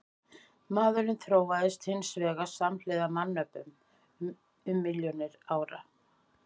Maðurinn þróaðist hins vegar samhliða mannöpum um milljónir ára.